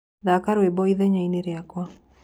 Thaka rwĩmbo ĩthenyaĩni rĩakwa